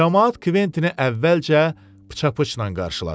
Camaat Kventini əvvəlcə pıça-pıçla qarşıladı.